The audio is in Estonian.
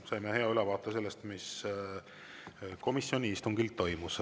Saime hea ülevaate sellest, mis komisjoni istungil toimus.